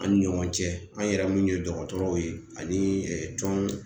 An ni ɲɔgɔn cɛ an yɛrɛ minnu ye dɔgɔtɔrɔw ye ani tɔnw